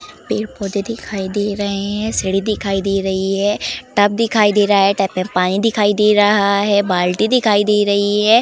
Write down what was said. पेड़-पौधे दिखाई दे रहे हैं सीढ़ी दिखाई दे रही है टब दिखाई दे रहा है टब में पानी दिखाई दे रहा है बाल्टी दिखाई दे रही है।